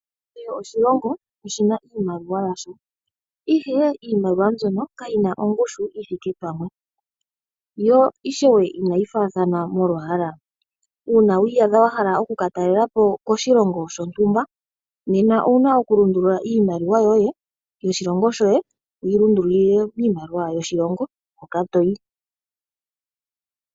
Kehe oshilongo oshina iimaliwa yasho, ihe iimaliwa mbyono kayina ongushu yithiike pamwe, yo ishewe inayi fathaana molwaala. Uuna wiiyadha wahala oku katalelapo koshilongo shontumba, nena owuna oku lundulula iimaliwa yoye yoshilongo shoye wuyi lundulule miimaliwa yoshilongo hoka toyi.